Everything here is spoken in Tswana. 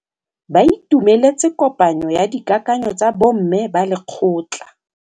Ba itumeletse kôpanyo ya dikakanyô tsa bo mme ba lekgotla.